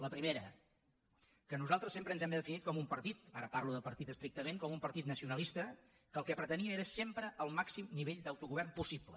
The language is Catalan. la primera que nosaltres sempre ens hem definit com un partit ara parlo de partit estrictament nacionalista que el que pretenia era sempre el màxim nivell d’autogovern possible